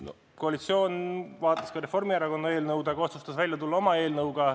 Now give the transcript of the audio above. No koalitsioon vaatas ka Reformierakonna eelnõu, aga otsustas välja tulla oma eelnõuga.